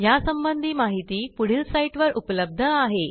यासंबंधी माहिती पुढील साईटवर उपलब्ध आहे